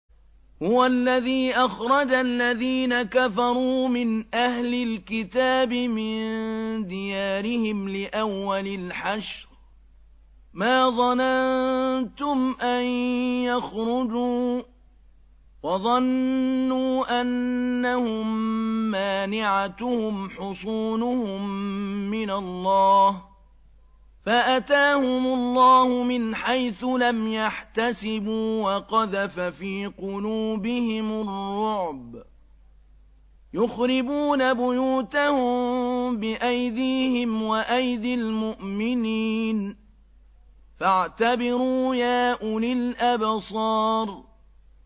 هُوَ الَّذِي أَخْرَجَ الَّذِينَ كَفَرُوا مِنْ أَهْلِ الْكِتَابِ مِن دِيَارِهِمْ لِأَوَّلِ الْحَشْرِ ۚ مَا ظَنَنتُمْ أَن يَخْرُجُوا ۖ وَظَنُّوا أَنَّهُم مَّانِعَتُهُمْ حُصُونُهُم مِّنَ اللَّهِ فَأَتَاهُمُ اللَّهُ مِنْ حَيْثُ لَمْ يَحْتَسِبُوا ۖ وَقَذَفَ فِي قُلُوبِهِمُ الرُّعْبَ ۚ يُخْرِبُونَ بُيُوتَهُم بِأَيْدِيهِمْ وَأَيْدِي الْمُؤْمِنِينَ فَاعْتَبِرُوا يَا أُولِي الْأَبْصَارِ